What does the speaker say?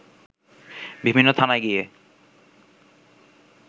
বিভিন্ন থানায় গিয়ে